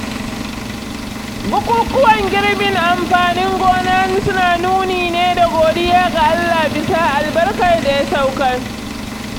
Bukukuwan girbin amfanin gona suna nuni ne da godiya ga Allah bisa albarkar da ya saukar